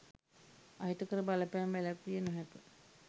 අහිතකර බලපෑම් වැළැක්විය නොහැක